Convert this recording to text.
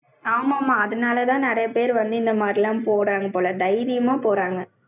ஆமா, ஆமா, அதனாலதான் நிறைய பேர் வந்து, இந்த மாதிரி எல்லாம் போறாங்க போல. தைரியமா போறாங்க.